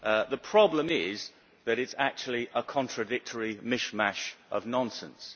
The problem is that it is actually a contradictory mishmash of nonsense.